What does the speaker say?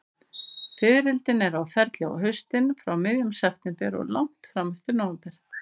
Fiðrildin eru á ferli á haustin, frá miðjum september og langt fram eftir nóvember.